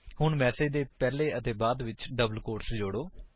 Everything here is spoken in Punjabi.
ਹੁਣ ਮੈਸੇਜ ਦੇ ਪਹਿਲੇ ਅਤੇ ਬਾਅਦ ਵਿੱਚ ਡਬਲ ਕੋਟਸ ਨੂੰ ਜੋੜੋ